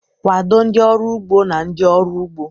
Kwado ndị ọrụ ugbo na ndị ọrụ ugbo..